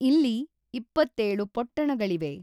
ಇಲ್ಲಿ ೨೭ ಪೊಟ್ಟಣಗಳಿವೆ.